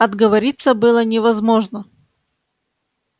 отговориться было невозможно